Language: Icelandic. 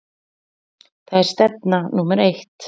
Það er stefna númer eitt.